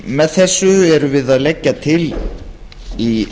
með þessu erum við að leggja til í